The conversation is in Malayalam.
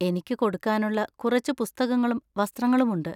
എനിക്ക് കൊടുക്കാനുള്ള കുറച്ച് പുസ്തകങ്ങളും വസ്ത്രങ്ങളും ഉണ്ട്.